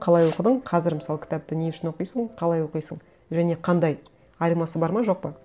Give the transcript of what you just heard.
қалай оқыдың қазір мысалы кітапты не үшін оқисың қалай оқисың және қандай айырмасы бар ма жоқ па